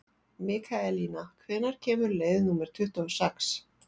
Mikaelína, hvenær kemur leið númer tuttugu og sex?